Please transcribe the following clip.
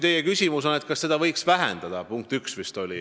Teie küsimus oli, kas seda summat võiks vähendada.